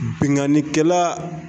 Binkanikɛla